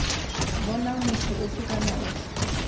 bonang motho ofe kana ofe